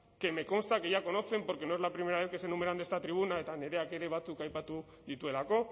que me consta que ya conocen porque no es la primera vez que se enumeran en esta tribuna eta nireak ere batzuk aipatu dituelako